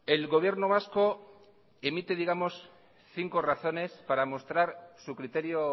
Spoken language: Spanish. el gobierno vasco emite cinco razones para mostrar su criterio